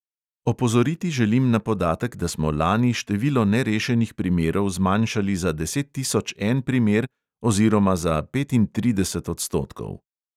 Opozoriti želim na podatek, da smo lani število nerešenih primerov zmanjšali za deset tisoč en primer oziroma za petintrideset odstotkov.